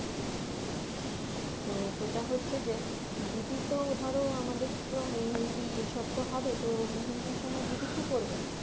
তো যেটা হচ্ছে যে দিদি তো ধরো আমাদের মেহেন্দি এইসব তো হবে তো মেহেন্দির সময় দিদি কি পরবে